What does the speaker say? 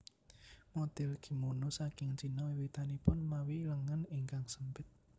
Model kimono saking Cina wiwitanipun mawi lengen ingkang sempit